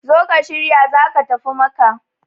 zo ka shirya za ka tafi Makka!